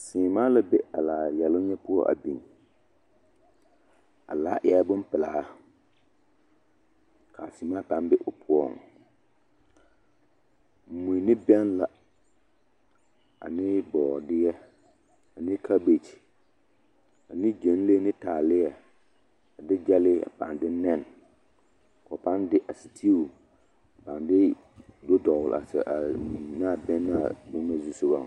Seemaa la be a laa yɛloŋ nyɛ poɔ a biŋ, a laa eɛɛ bompelaa k'a seemaa pãã be o poɔŋ, mui ne bɛŋ la ane bɔɔdeɛ ane kabekyi ane gyɛnlee ne taaleɛ a de gyɛlee a pãã de nɛne k'o pãã de a sitiu a pãã de do dɔgele a mui naa bɛŋ naa boma zusogɔŋ.